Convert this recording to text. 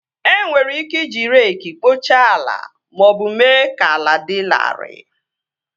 E nwere ike iji reekị kpochaa ala maọbụ mee ka ala dị larịị